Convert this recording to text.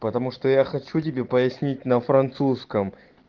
потому что я хочу тебе пояснить на французском